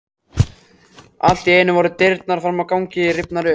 Allt í einu voru dyrnar fram á ganginn rifnar upp.